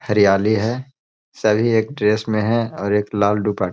हरियाली है। सभी एक ड्रेस में हैं और एक लाल दुप --